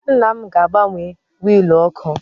Nna m ga-agbanwe wiil oku